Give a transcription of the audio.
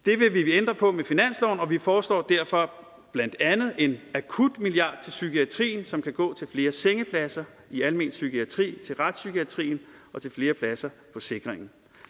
ændre på med finansloven og vi foreslår derfor blandt andet en akutmilliard til psykiatrien som kan gå til flere sengepladser i almen psykiatri til retspsykiatrien og til flere pladser på sikringen